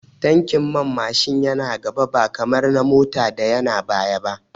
Tankin man Mashin yana gaba ba kamar na Mota da yana baya ba